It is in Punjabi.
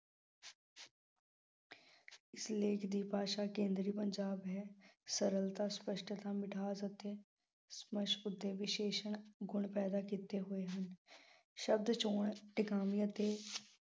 ਦੀ ਭਾਸ਼ਾ ਕੇਂਦਰੀ ਪੰਜਾਬ ਹੈ। ਸਰਲਤਾ, ਸਪੱਸ਼ਟਤਾ, ਮਿਠਾਸ ਅਤੇ ਉੱਤੇ ਵਿਸ਼ੇਸ਼ਣ ਗੁਣ ਪੈਦਾ ਕੀਤੇ ਹੋਏ ਹਨ। ਸ਼ਬਦ ਚੋਣ ਟਿਕਾਵੇਂ ਅਤੇ